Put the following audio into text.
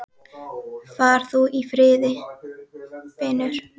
Far þú í friði, vinur.